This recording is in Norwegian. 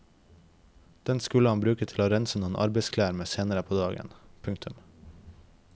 Den skulle han bruke til å rense noen arbeidsklær med senere på dagen. punktum